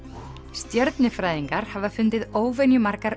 stjörnufræðingar hafa fundið óvenju margar